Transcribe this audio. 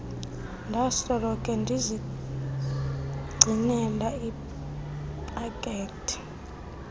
ndasoloko ndizigcinele ipakethe